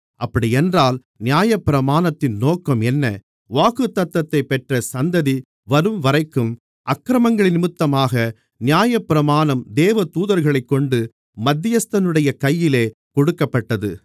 அப்படியென்றால் நியாயப்பிரமாணத்தின் நோக்கம் என்ன வாக்குத்தத்தத்தைப் பெற்ற சந்ததி வரும்வரைக்கும் அக்கிரமங்களினிமித்தமாக நியாயப்பிரமாணம் தேவதூதர்களைக்கொண்டு மத்தியஸ்தனுடைய கையிலே கொடுக்கப்பட்டது